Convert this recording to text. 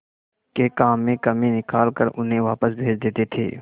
के काम में कमी निकाल कर उन्हें वापस भेज देते थे